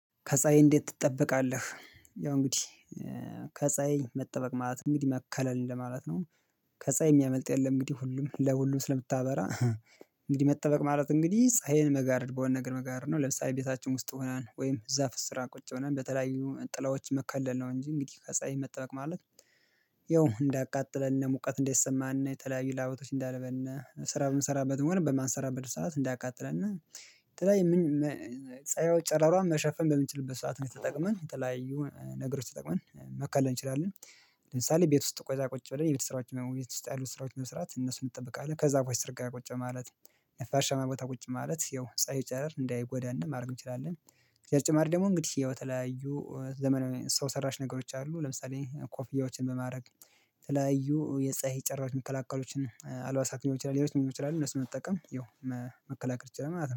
ከፀአይ እንዴት ትጠበቃለህ? ያው እንግዲህ ከፀሀይ መጠበቅ ማለት ነው እንግዲህ መከለል እንደማለት ነው። ከፀሀይ የሚያመልጥ የለም እንግዲህ ሁሉም ለሁሉም ስለምታበራ። እንግዲህ መጠበቅ ማለት እንግዲህ ፀሀይን መጋረድ በሆነ ነገር መጋረድ ነው። ለምሳሌ ቤታችን ውስጥ ሆነን ወይም ዛፍ ስራ ቁጭ ብለን በተለያዩ ጥላዎች መከለል ነው እንጂ እንግዲህ ከፀሀይ መጠበቅ ማለት። ያው እንዳያቃጥለን ሙቀት እንደይሰማን የተለያዩ ለባቶች እንዳያልበን ስራ ብምንሰራበትም ሆን በማንሰራበት ሰዓት እንዳያቃጥለን የተለያየን ጨረሯን መሸፈን በምንችልበት ሰዓት ላይ ተጠቀመን የተለያዩ ነገሮች ተጠቅመን መከለል እንችላለን። ለምሳሌ ቤት ውስጥ ቆይታ ቁጭ ብለን የቤት ስራዎች ውስጥ ያሉት ስራዎች መስራት እነሱን እጠብቃለሁ ከዛፎች ስር ጋር ቁጭ ማለት ነፋሻማ ቦታ ቁጭ ማለት ያው ፀሀይ ጨረር እንዳይጎዳን ማድረግ እንችላለን። በተጨማሪ ደግሞ እንግዲህ የተለያዩ ዘመናዊ ሰው ሰራሽ ነገሮች አሉ ለምሳሌ ኮፍያዎችን በማድረግ የተለያዩ የፀሀይ ጨረሮዎችን መከላከሎችን አልባሳት ሊሆን ይችላል። እነሱን በመጠቀም ይኸው መከላከል ይችላል ማለት ነው